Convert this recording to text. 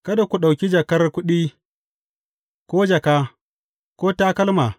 Kada ku ɗauki jakar kuɗi, ko jaka, ko takalma.